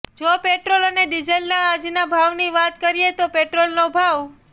જો પેટ્રોલ અને ડિજલના આજના ભાવની વાત કરીએ તો પેટ્રોલનો ભાવ